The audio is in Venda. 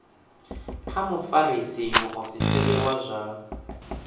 kha mufarisa muofisiri wa zwa